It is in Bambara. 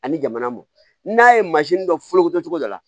Ani jamana mɔ n'a ye mansin dɔ fɔlɔkocogo dɔ la